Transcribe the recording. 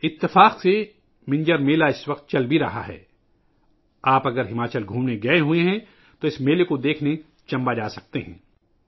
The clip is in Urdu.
اتفاق سے اس وقت منجر کا میلہ بھی چل رہا ہے، اگر آپ ہماچل کی سیر کرنے گئے ہیں تو اس میلے کو دیکھنے کے لئے چمبہ جا سکتے ہیں